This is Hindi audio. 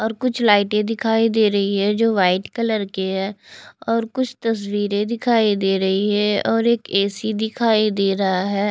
और कुछ लाइटें दिखाई दे रही है जो व्हाइट कलर की है और और कुछ तस्वीरें दिखाई दे रही है और एक ए_सी दिखाई दे रहा है।